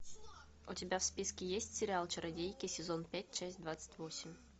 у тебя в списке есть сериал чародейки сезон пять часть двадцать восемь